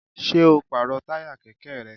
Ṣé o pàrọ̀ táyà kẹ̀kẹ́ rẹ?